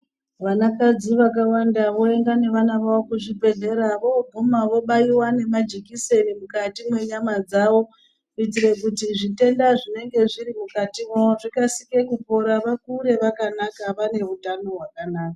Vanakadzi vakawanda voenda nevana vavo kuzvibhedhlera, voguma vobaiwa nemajekiseni mukati mwenyama dzavo kuitire kuti zvitenda zvinenge zviri mukati mavo zvikasire kupora, vakure vakanaka vane utano hwakanaka.